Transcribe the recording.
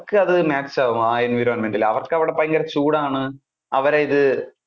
അവർക്ക് അത് match ആകും ആ environment ൽ അവർക്ക് അവിടെ ഭയങ്കര ചൂട് ആണ് അവര് ഇത്